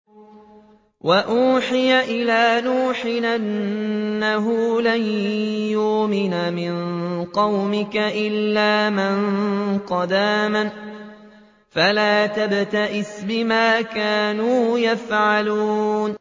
وَأُوحِيَ إِلَىٰ نُوحٍ أَنَّهُ لَن يُؤْمِنَ مِن قَوْمِكَ إِلَّا مَن قَدْ آمَنَ فَلَا تَبْتَئِسْ بِمَا كَانُوا يَفْعَلُونَ